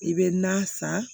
I bɛ na san